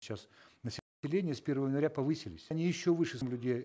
сейчас с первого января повысились они еще выше людей